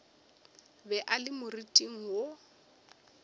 be a le moriting wo